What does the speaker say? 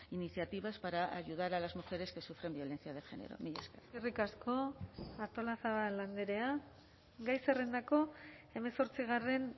iniciativas para ayudar a las mujeres que sufren violencia de género mila esker eskerrik asko artolazabal andrea gai zerrendako hemezortzigarren